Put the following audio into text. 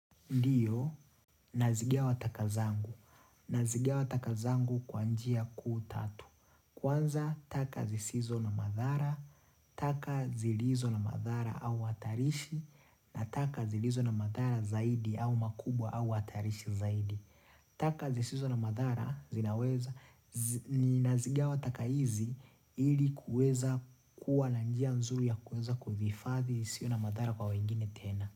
Ndiyo, nazigawa taka zangu. Nazigiwa taka zangu kwa njia kuu tatu. Kwanza, taka zisizo na madhara, taka zilizo na madhara au atarishi, na taka zilizo na madhara zaidi au makubwa au atarishi zaidi. Taka zisizo na madhara, zinaweza, ninazigawa taka hizi ili kuweza kuwa na njia nzuri ya kuweza kuthifadhi isiwe na madhara kwa wengine tena.